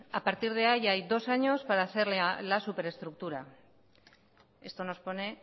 a partir de ahí ya hay dos años para hacer la superestructura esto nos pone